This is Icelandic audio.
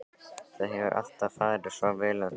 Það hefur alltaf farið svo vel um þig hérna.